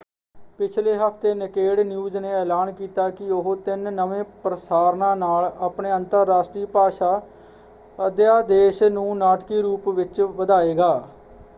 ਪਿਛਲੇ ਹਫ਼ਤੇ Naked News ਨੇ ਐਲਾਨ ਕੀਤਾ ਕਿ ਉਹ ਤਿੰਨ ਨਵੇਂ ਪ੍ਰਸਾਰਨਾਂ ਨਾਲ ਆਪਣੇ ਅੰਤਰਰਾਸ਼ਟਰੀ ਭਾਸ਼ਾ ਅਧਿਆਦੇਸ਼ ਨੂੰ ਨਾਟਕੀ ਰੂਪ ਵਿੱਚ ਵਧਾਏਗਾ।